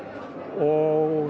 og